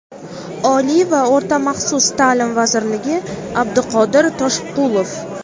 Oliy va o‘rta maxsus taʼlim vaziri Abduqodir Toshqulov.